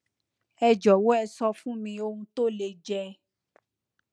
ẹ jọwọ ẹ sọ fún mi ohun tó lè jẹ